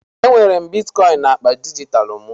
Enwere m Bitikoin naakpa dijitalụ m